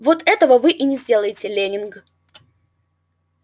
вот этого вы и не сделаете лэннинг